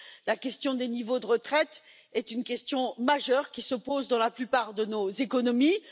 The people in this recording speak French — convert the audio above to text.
La question des niveaux de retraite est une question majeure, qui se pose dans la plupart de nos économies.